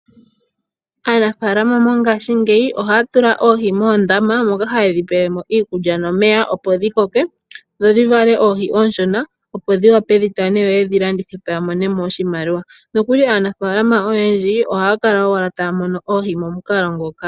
Aanafaalama mongashingeyi ohaya tula oohi moondama moka hayedhi pelemo iikulya nomeya opo dhi koke, dho dhivale oohi oonshona, opo dhiwape dhitane yoyedhi landithepo yamonemo oshimaliwa. Nokuli aanafaalama oyendji ohaya kala owala taya mono oohi momukalo ngoka.